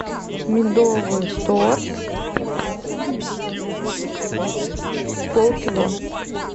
медовый торт полкило